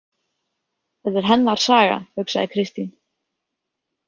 Þetta er hennar saga, hugsaði Kristín.